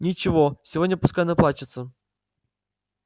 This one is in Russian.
ничего сегодня пускай наплачется